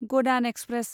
गदान express